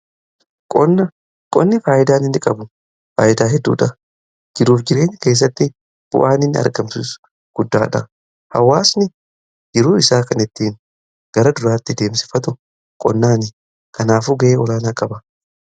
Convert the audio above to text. qonni faayidaa inni qabu faayidaa hedduudha. Jiruuf jireenya keessatti bu'aan inni argamsiisu guddaadha. Hawaasni jiruu isaa kan ittiin gara duraatti adeemsifatu qonnaan kanaaf ga'ee olaanaa qaba.